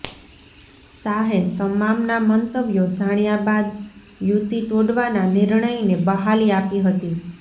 શાહે તમામના મંતવ્યો જાણ્યા બાદ યુતિ તોડવાના નિર્ણયને બહાલી આપી હતી